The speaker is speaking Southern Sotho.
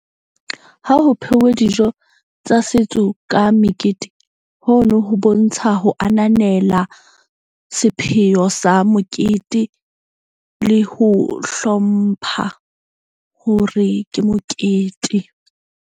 Ha ho pheuwe dijo tsa setso ka mekete hono ho bontsha ho ananela sepheo sa mokete le ho hlompha hore ke mokete.